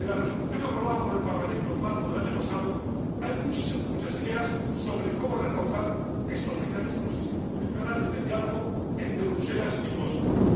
En la resolución aprobada por el Parlamento en marzo del año pasado hay muchas ideas sobre cómo reforzar estos mecanismos institucionales de diálogo entre Bruselas y Washington.